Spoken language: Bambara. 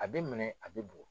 A bɛ minɛ a bɛ bugɔ.